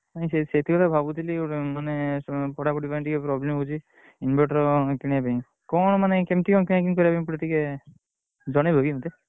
ମୁଁ ସେଇଥି ସେଇଥି ପାଇଁ ତ ଭାବୁଥିଲି ମାନେ ପଢାପଢି ପାଇଁ ଟିକେ problem ହଉଛି inverter କିଣିବା ପାଇଁ କଣ ମାନେ କେମିତି କଣ କିଣା କିଣି କରିବା ପାଇଁ ପଡିବ ତିକେ ଜଣେଇବ କି ମତେ?